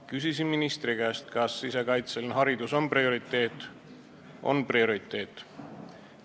Küsisin ministri käest, kas sisekaitseline haridus on prioriteet – on prioriteet.